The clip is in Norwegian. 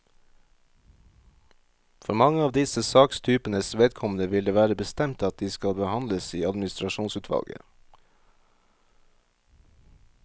For mange av disse sakstypenes vedkommende vil det være bestemt at de skal behandles i administrasjonsutvalget.